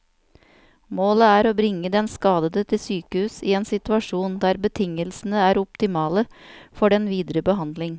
Målet er å bringe den skadede til sykehus i en situasjon der betingelsene er optimale for den videre behandling.